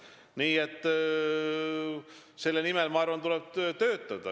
Nii et selle nimel, ma arvan, tuleb töötada.